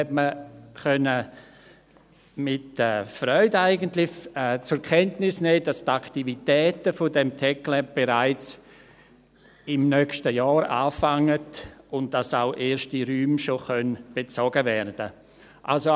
Man konnte eigentlich mit Freude zur Kenntnis nehmen, dass die Aktivitäten dieses TecLab bereits im nächsten Jahr beginnen, und dass erste Räume auch bereits bezogen werden können.